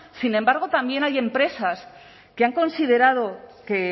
sin embargo también hay empresas que han considerado que